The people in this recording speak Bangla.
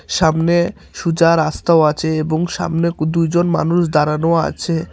সামনে সুজা রাস্তাও আছে এবং সামনে কু-দুইজন মানুষ দাঁড়ানো আছে।